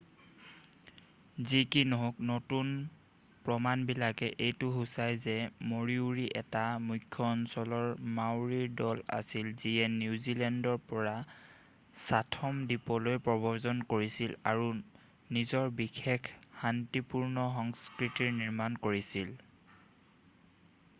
যি কি নহওক নতুন প্ৰমাণবিলাকে এইটো সুচাই যে মৰিওৰি এটা মুখ্যঅঞ্চলৰ মাওৰীৰ দল আছিল যিয়ে নিউজিলেণ্ডৰ পৰা চাথম দ্বীপলৈ প্ৰব্ৰজন কৰিছিল আৰু নিজৰ বিশেষ শান্তিপূৰ্ণ সংস্কৃতিৰ নিৰ্মাণ কৰিছিল